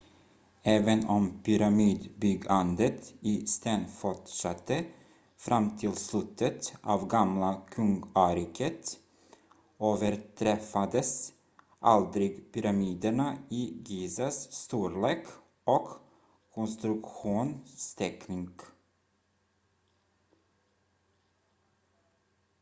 även om pyramidbyggandet i sten fortsatte fram till slutet av gamla kungariket överträffades aldrig pyramiderna i gizas storlek och konstruktionsteknik